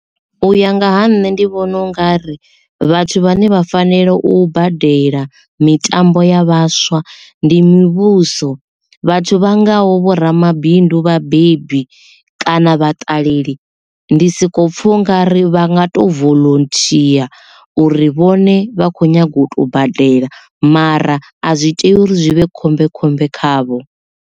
U ya nga ha nṋe ndi vhona u nga ri vhathu vhane vha fanela u badela mitambo ya vhaswa ndi mivhuso vhathu vha ngaho vho ramabindu vhabebi kana vhaṱaleli ndi soko pfha unga ri vha nga to volonthia uri vhone vha kho nyaga u tea u badela mara a zwi tea uri zwi vhe khombekhombe khavho.